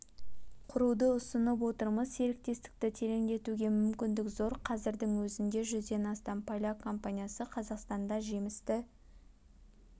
құруды ұсынып отырмыз серіктестікті тереңдетуге мүмкіндік зор қазірдің өзінде жүзден астам поляк компаниясы қазақстанда жемісті